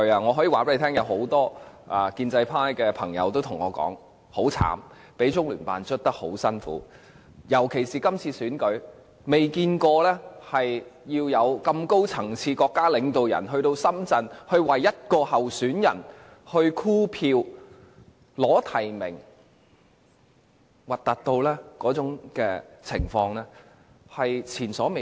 我可以告訴大家，有很多建制派朋友對我說他們很慘，被中聯辦迫得很辛苦，特別是今次選舉，他們從未見過這麼高層次的國家領導人到深圳為一位候選人箍票、爭取提名，那種情況難看得前所未見。